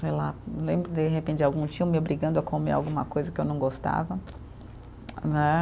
Sei lá, lembro de repente de algum tio me obrigando a comer alguma coisa que eu não gostava né.